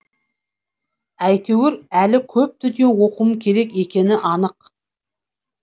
әйтеуір әлі көп дүние оқуым керек екені анық